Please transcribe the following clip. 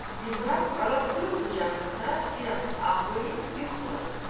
Ziba anasının qucağında biraz ağlayıb yuxuladı.